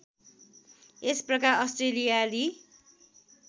यस प्रकार अस्ट्रेलियाली